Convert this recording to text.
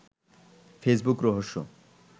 Facebook রহস্য